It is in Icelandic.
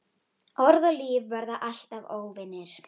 Orð og líf verða alltaf óvinir.